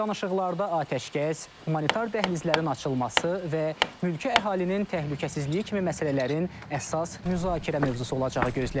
Danışıqlarda atəşkəs, humanitar dəhlizlərin açılması və mülki əhalinin təhlükəsizliyi kimi məsələlərin əsas müzakirə mövzusu olacağı gözlənilir.